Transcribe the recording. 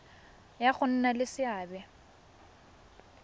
ya go nna le seabe